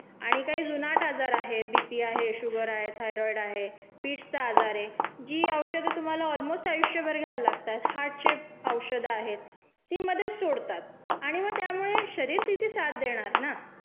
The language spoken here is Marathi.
आणि काही जुनाट आजार आहे बीपी आहे, शुगर आहे, थायरॉईड आहे, फिट्सचा आजार ये, जी औषधं तुम्हाला ऑलमोस्ट आयुष्भर घ्यायला लागतात, हार्टचे औषधं आहेत ती मधेच सोडतात आणि म त्यामुळे शरीर तिथे साथ देणार ना.